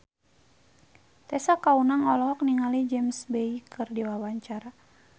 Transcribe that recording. Tessa Kaunang olohok ningali James Bay keur diwawancara